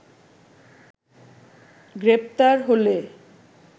গ্রেপ্তার হলে